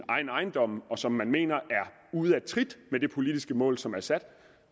egen ejendom og som man mener er ude af trit med det politiske mål som er sat